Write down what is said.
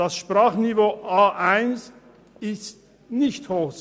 Das Sprachniveau A1 ist nicht hoch.